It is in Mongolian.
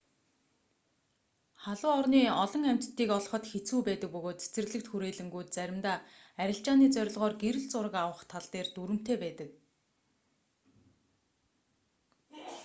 халуун орны олон амьтдыг олоход хэцүү байдаг бөгөөд цэцэрлэгт хүрээлэнгүүд заримдаа арилжааны зорилгоор гэрэл зураг авах тал дээр дүрэмтэй байдаг